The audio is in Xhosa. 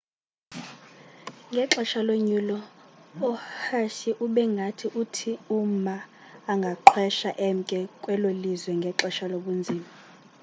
ngexesha lonyulo uhsieh ube ngathi uthi uma angaqhwesha emke kwelo lizwe ngexesha lobunzima